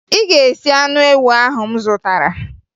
Ị ga-esi anụ ewu ahụ m zụtara!